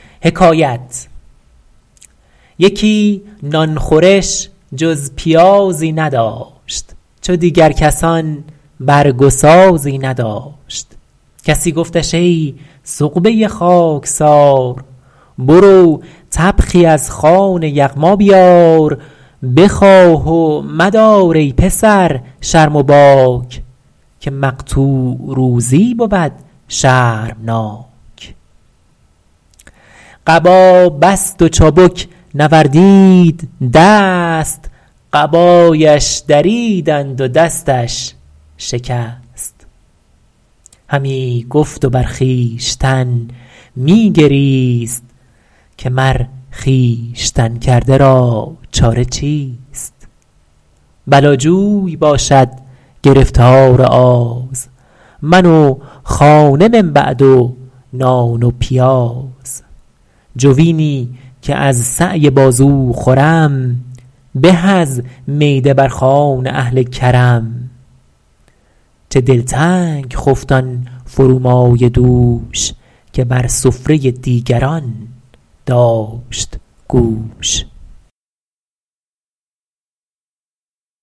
یکی نان خورش جز پیازی نداشت چو دیگر کسان برگ و سازی نداشت پراکنده ای گفتش ای خاکسار برو طبخی از خوان یغما بیار بخواه و مدار از کس ای خواجه باک که مقطوع روزی بود شرمناک قبا بست و چابک نوردید دست قبایش دریدند و دستش شکست شنیدم که می گفت و خون می گریست که ای نفس خودکرده را چاره چیست بلا جوی باشد گرفتار آز من و خانه من بعد و نان و پیاز جوینی که از سعی بازو خورم به از میده بر خوان اهل کرم چه دلتنگ خفت آن فرومایه دوش که بر سفره دیگران داشت گوش